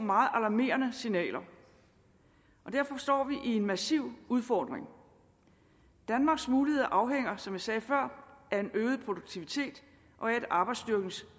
meget alarmerende signaler og derfor står vi en massiv udfordring danmarks muligheder afhænger som jeg sagde før af en øget produktivitet og af at arbejdsstyrkens